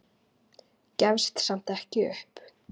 Gefst samt ekki upp.